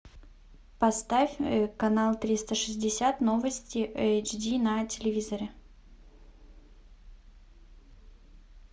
поставь канал триста шестьдесят новости эйч ди на телевизоре